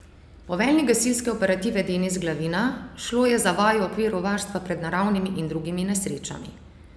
Poveljnik gasilske operative Denis Glavina: "Šlo je za vajo v okviru varstva pred naravnimi in drugimi nesrečami.